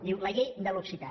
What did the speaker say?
diu la llei de l’occità